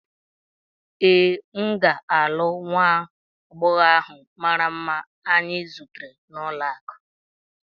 Ee, m ga-alụ nwa agbọghọ ahụ mara mma anyị zutere n'ụlọakụ.